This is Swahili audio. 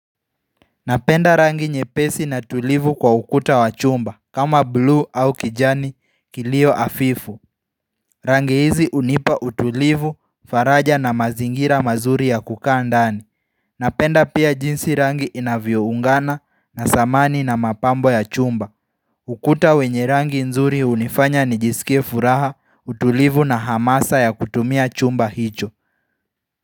Napenda rangi nye pesi na tulivu kwa ukuta wa chumba kama blue au kijani kilio afifu Rangi hizi unipa utulivu faraja na mazingira mazuri ya kukaa ndani Napenda pia jinsi rangi inavyoungana na samani na mapambo ya chumba ukuta wenye rangi nzuri unifanya nijisikia furaha utulivu na hamasa ya kutumia chumba hicho.